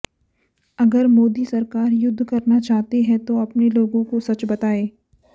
अगर मोदी सरकार युद्ध करना चाहती है तो अपने लोगों को सच बताए